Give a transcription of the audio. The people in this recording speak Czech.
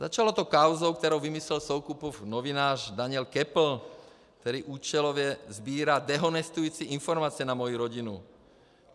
Začalo to kauzou, kterou vymyslel Soukupův novinář Daniel Köppl, který účelově sbírá dehonestující informace na moji rodinu.